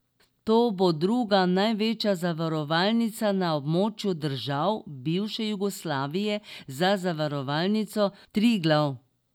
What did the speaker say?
To bo druga največja zavarovalnica na območju držav bivše Jugoslavije, za Zavarovalnico Triglav.